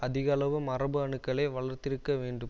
அதிக அளவு மரபு அணுக்களை வளர்த்திருக்க வேண்டும்